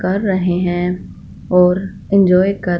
कर रहे हैं और इंजॉय कर--